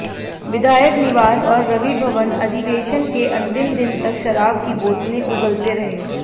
विधायक निवास और रवि भवन अधिवेशन के अंतिम दिन तक शराब की बोतलें उगलते रहे